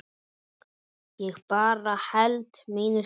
Ég bara held mínu striki.